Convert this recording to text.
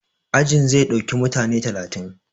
Ajin zai ɗauki mutane talatin